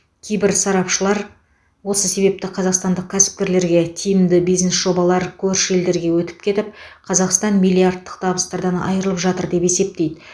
кейбір сарапшылар осы себепті қазақстандық кәсіпкерлерге тиімді бизнес жобалар көрші елдерге өтіп кетіп қазақстан миллиардтық табыстардан айырылып жатыр деп есептейді